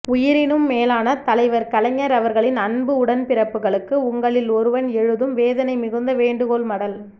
உயிரினும் மேலான தலைவர் கலைஞர் அவர்களின் அன்பு உடன்பிறப்புகளுக்கு உங்களில் ஒருவன் எழுதும் வேதனை மிகுந்த வேண்டுகோள் மடல்